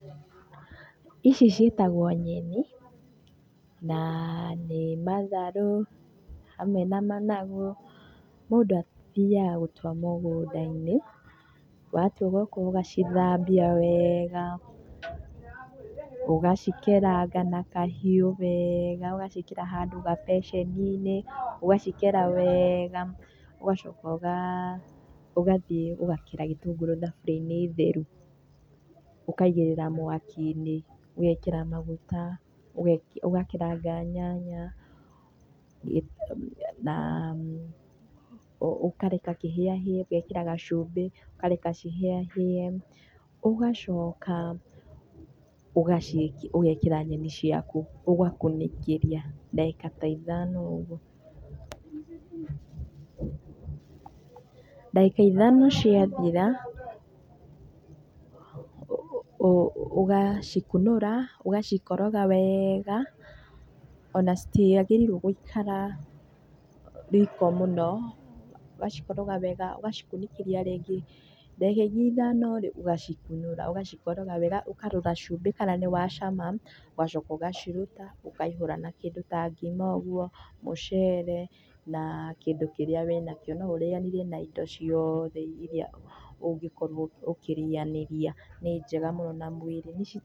Ici ciĩtagwo nyeni na nĩ matharũ hamwe na managu, mũndũ athiaga gũtua mũgũnda-inĩ, watua ũgoka ũgacithambia wega, ũgacikeraga na kahiũ wega ũgaciĩkĩra handũ gabeceni-inĩ ũgacikera wega ũgacoka ũgathiĩ ũgakera gĩtũngũrũ thaburia-inĩ theru ũkaigĩrĩra mwaki-inĩ, ũgekĩra maguta, ũgakeranga nyanya na ũkareka kĩhĩahĩe ũgekĩra gacumbĩ ũkareka cihĩahĩe ũgacoka ũgekĩra nyeni ciaku, ũgakunĩkĩria ndagĩka ta ithano ũguo. Ndagĩka ithano ciathira ũgacikunũra ũgacikoroga wega, ona citiagĩrĩirwo gũikara riko mũno, ũgacikoroga wega, ũgacikunĩkĩria rĩngĩ, ndagĩka ingĩ ithano rĩĩ ũgacikunũra ũgacikoroga wega, ũkarora cumbĩ kana nĩ wa cama ũgacoka ũgaciruta ũkaihũra na kĩndũ ta ngima ũguo, mũcere na kĩndũ kĩrĩa wĩnakio. No ũrĩanĩrie na indo ciothe irĩa ũngĩkorwo ũkĩrĩanĩria, nĩ njega mũno na mũĩrĩ nĩ ci...